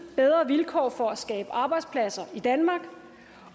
bedre vilkår for at skabe arbejdspladser i danmark